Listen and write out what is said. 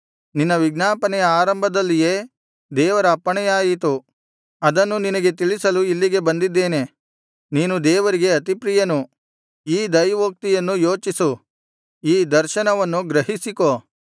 ನಿನ್ನ ವಿಜ್ಞಾಪನೆಯ ಆರಂಭದಲ್ಲಿಯೇ ದೇವರ ಅಪ್ಪಣೆಯಾಯಿತು ಅದನ್ನು ನಿನಗೆ ತಿಳಿಸಲು ಇಲ್ಲಿಗೆ ಬಂದಿದ್ದೇನೆ ನೀನು ದೇವರಿಗೆ ಅತಿಪ್ರಿಯನು ಈ ದೈವೋಕ್ತಿಯನ್ನು ಯೋಚಿಸು ಈ ದರ್ಶನವನ್ನು ಗ್ರಹಿಸಿಕೋ